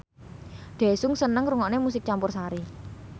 Daesung seneng ngrungokne musik campursari